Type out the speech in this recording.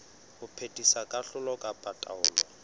ho phethisa kahlolo kapa taelo